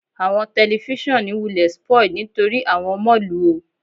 Awọn tẹlifisiọnu wulẹ spoiled nitori awọn ọmọ lu o